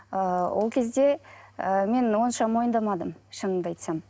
ыыы ол кезде ы мен онша мойындамадым шынымды айтсам